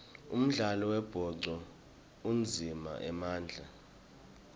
umdlalo wembhoco udzinga emandla